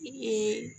I ye